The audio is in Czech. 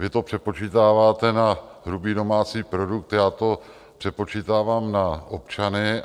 Vy to přepočítáváte na hrubý domácí produkt, já to přepočítávám na občany.